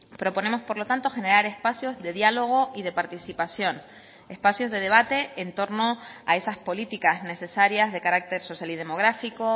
proponemos por lo tanto generar espacios de diálogo y de participación espacios de debate en torno a esas políticas necesarias de carácter social y demográfico